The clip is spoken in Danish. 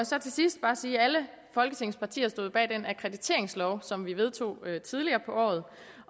så til sidst sige at alle folketingets partier jo stod bag den akkrediteringslov som vi vedtog tidligere på året